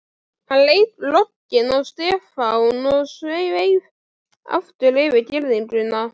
Hann leit rogginn á Stefán og sveif aftur yfir girðinguna.